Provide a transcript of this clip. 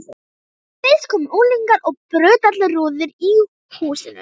Fyrst komu unglingar og brutu allar rúður í húsinu.